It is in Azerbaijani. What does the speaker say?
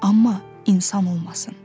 Amma insan olmasın.